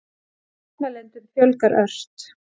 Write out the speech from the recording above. Mótmælendum fjölgar ört